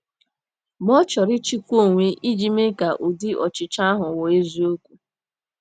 Ma ọ chọrọ ịchịkwa onwe iji mee ka ụdị ọchịchọ ahụ ghọọ eziokwu.